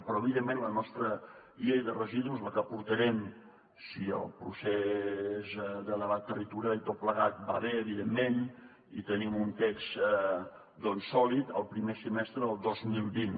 però evidentment la nostra llei de residus la portarem si el procés de debat territorial i tot plegat va bé evidentment i tenim un text doncs sòlid el primer semestre del dos mil vint